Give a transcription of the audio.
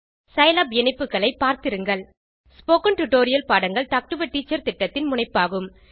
Scilab இணைப்புகளை பார்த்திருங்கள் spoken tutorial பாடங்கள் டாக் டு எ டீச்சர் திட்டத்தின் முனைப்பாகும்